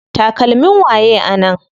Takalmin waye a nan?